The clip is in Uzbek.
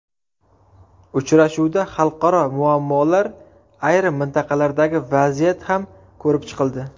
Uchrashuvda xalqaro muammolar, ayrim mintaqalardagi vaziyat ham ko‘rib chiqildi.